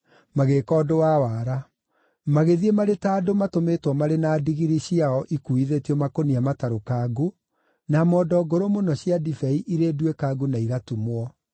magĩĩka ũndũ wa wara. Magĩthiĩ marĩ ta andũ matũmĩtwo marĩ na ndigiri ciao ikuuithĩtio makũnia matarũkangu, na mondo ngũrũ mũno cia ndibei irĩ nduĩkangu na igatumwo.